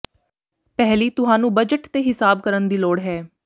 ਪਹਿਲੀ ਤੁਹਾਨੂੰ ਬਜਟ ਦੇ ਹਿਸਾਬ ਕਰਨ ਦੀ ਲੋੜ ਹੈ